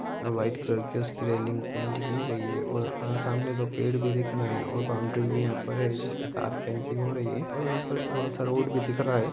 White colour की उसकी railing paint की गयी है और सामने दो पेड़ भि दिख रहे है और बाउंड्री भी यह पे है जिसे पे तार फेंसिंग हो रही है और यहा पे थोडा सा रोड भी दिख रहा है।